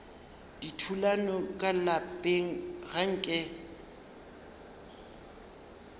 dithulano ka lapeng ga nke